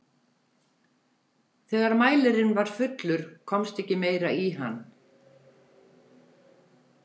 Þegar mælirinn var fullur komst ekki meira í hann.